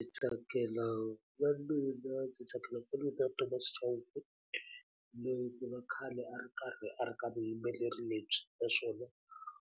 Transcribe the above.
Ndzi tsakela na mina ndzi tsakela na Thomas Chauke, loyi ku nga a khale a ri karhi a ri ka vuyimbeleri lebyi. Naswona